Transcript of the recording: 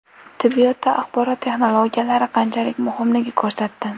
Tibbiyotda axborot texnologiyalari qanchalik muhimligini ko‘rsatdi.